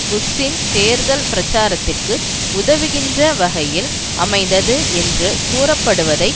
புஷ்ஷின் தேர்தல் பிரச்சாரத்திற்கு உதவுகின்ற வகையில் அமைந்தது என்று கூறப்படுவதை